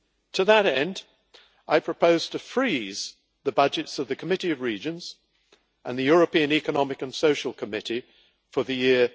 To that end, I propose to freeze the budgets of the Committee of Regions and the European Economic and Social Committee for the year